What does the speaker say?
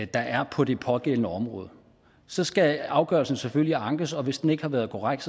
der er på det pågældende område så skal afgørelsen selvfølgelig ankes og hvis den ikke har været korrekt